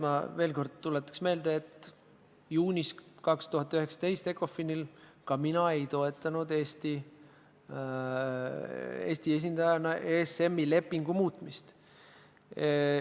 Ma tuletaks veel kord meelde, et juunis 2019 ECOFIN-il ka mina ei toetanud Eesti esindajana ESM-i lepingu muutmist.